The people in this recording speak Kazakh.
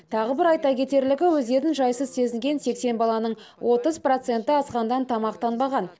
тағы бір айта кетерлігі өздерін жайсыз сезінген сексен баланың отыз проценті асханадан тамақтанбаған